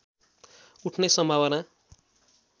उठ्ने सम्भावना